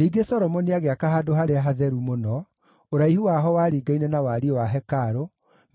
Ningĩ Solomoni agĩaka Handũ-harĩa-Hatheru-Mũno, ũraihu waho waringaine na wariĩ wa hekarũ,